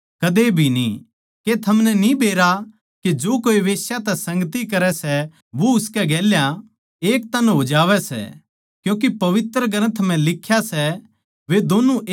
के थमनै न्ही बेरा के जो कोए बेश्या तै संगती करै सै वो उसकै गेल्या एक तन हो जावै सै क्यूँके पवित्र ग्रन्थ म्ह लिख्या सै वे दोन्नु एक तन होवैगें